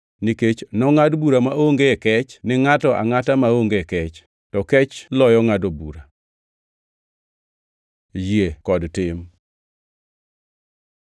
nikech nongʼad bura maonge kech ni ngʼato angʼata maonge kech. To kech loyo ngʼado bura. Yie kod tim